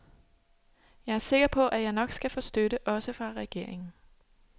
Jeg er sikker på, at jeg nok skal få støtte, også fra regeringen.